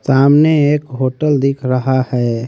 सामने एक होटल दिख रहा है।